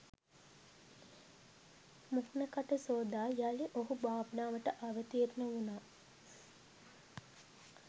මුහණ කට සෝදා යලි ඔහු භාවනාවට අවතීර්ණ උණා.